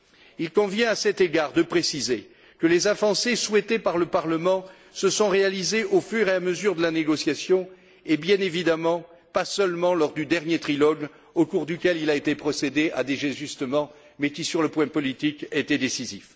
Il convient, à cet égard, de préciser que les avancées souhaitées par le Parlement se sont réalisées au fur et à mesure de la négociation et, bien évidemment, pas seulement lors du dernier trilogue au cours duquel il a été procédé à des ajustements, mais qui, sur le plan politique, était décisif.